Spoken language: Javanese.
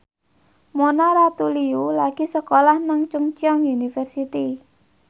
Mona Ratuliu lagi sekolah nang Chungceong University